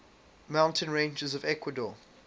mountain ranges of ecuador